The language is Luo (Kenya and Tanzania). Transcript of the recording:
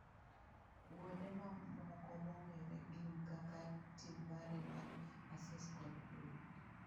Uonde mamoko mong'ere gin kaka Tilbury man Essex kod Hull.